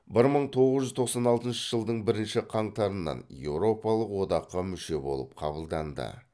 бір мың тоғыз жүз тоқсан алтыншы жылдың бірінші қаңтарынан еуропалық одаққа мүше болып кабылданды